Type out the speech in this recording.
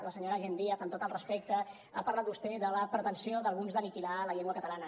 la senyora jenn díaz amb tot el respecte ha parlat vostè de la pretensió d’alguns d’aniquilar la llengua catalana